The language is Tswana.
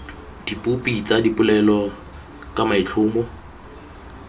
dipopi tsa dipolelo ka maitlhomo